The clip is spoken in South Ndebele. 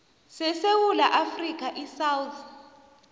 sesewula afrika isouth